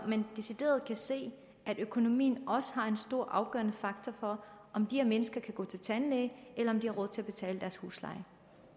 man decideret kan se at økonomien også er en stor afgørende faktor for om de her mennesker kan gå til tandlæge eller om de har råd til at betale deres husleje